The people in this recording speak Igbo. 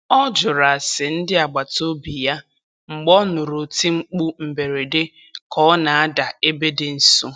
Ọ jụrụ ase ndị agbataobi ya mgbe ọ nụrụ oti mkpu mberede ka ọ na-ada ebe dị nso.